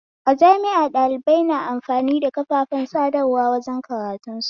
A jami'a ɗalibai na amfani da kafafen sadarwa wajen karantun su